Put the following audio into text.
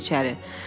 Keçin içəri.